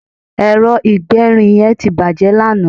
ẹrọ igberin yen ti bàjé lanaa